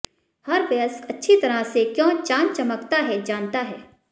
हर वयस्क अच्छी तरह से क्यों चांद चमकता है जानता है